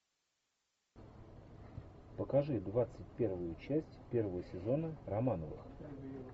покажи двадцать первую часть первого сезона романовых